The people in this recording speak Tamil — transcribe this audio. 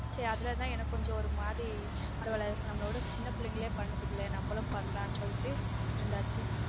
சரி அதுல தான் எனக்கு கொஞ்சம் ஒரு மாதிரி பரவலா நம்மலோடசின்ன பிள்ளைங்களே பண்ணுதுங்கல நம்மளும் பண்ணலான் சொல்லிட்டு இருந்தாச்சு